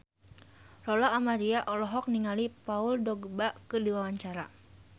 Lola Amaria olohok ningali Paul Dogba keur diwawancara